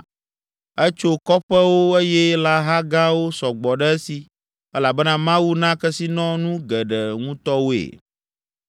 Etso kɔƒewo eye lãha gãwo sɔ gbɔ ɖe esi elabena Mawu na kesinɔnu geɖe ŋutɔ woe.